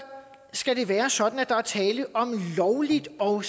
skal det være sådan at der er tale om lovligt og